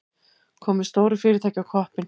Komið stóru fyrirtæki á koppinn.